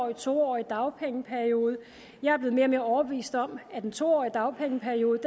og en to årig dagpengeperiode jeg er blevet mere og mere overbevist om at en to årig dagpengeperiode